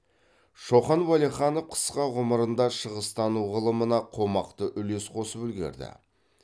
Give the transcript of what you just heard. шоқан уәлиханов қысқа ғұмырында шығыстану ғылымына қомақты үлес қосып үлгерді